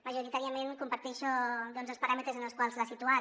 majoritàriament comparteixo els paràmetres en els quals l’ha situat